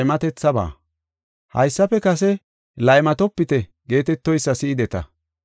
“Haysafe kase, ‘Laymatopite’ geetetoysa si7ideta.